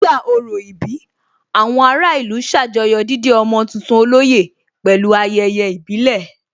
Nígbà orò ìbí, àwọn ará ìlú ṣàjọyọ̀ dídé ọmọ tuntun olóyè pẹ̀lú ayẹyẹ ìbílẹ̀